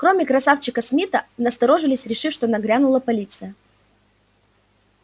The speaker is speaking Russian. кроме красавчика смита насторожились решив что нагрянула полиция